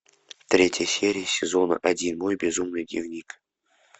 третья серия сезона один мой безумный дневник